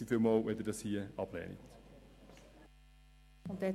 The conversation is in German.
Vielen Dank, wenn Sie diesen Antrag ablehnen.